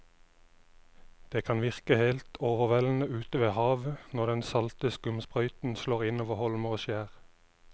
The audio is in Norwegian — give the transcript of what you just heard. Det kan virke helt overveldende ute ved havet når den salte skumsprøyten slår innover holmer og skjær.